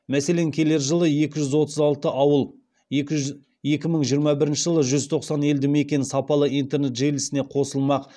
мәселен келер жылы екі жүз отыз алты ауыл екі мың жиырма бірінші жылы жүз тоқсан алты елді мекен сапалы интернет желісіне қосылмақ